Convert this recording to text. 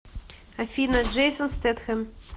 афина джейсон стетхэм